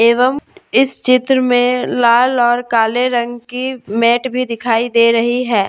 एवं इस चित्र में लाल और काले रंग की मेट भी दिखाई दे रही है।